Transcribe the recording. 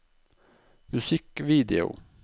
musikkvideo